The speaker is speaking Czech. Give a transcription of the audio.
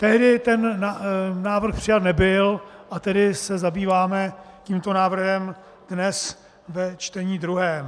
Tehdy ten návrh přijat nebyl, a tedy se zabýváme tímto návrhem dnes ve čtení druhém.